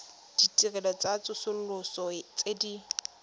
ditirelo tsa tsosoloso tse di